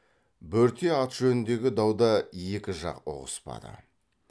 бөрте ат жөніндегі дауда екі жақ ұғыспады